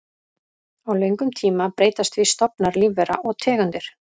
Á löngum tíma breytast því stofnar lífvera og tegundir.